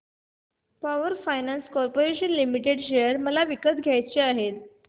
power finance corporation limited share मला विकत घ्यायचे आहेत